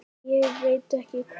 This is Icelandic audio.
Ég veit ekki hvað